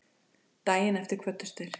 Daginn eftir kvöddust þeir.